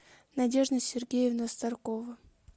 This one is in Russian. надежда сергеевна старкова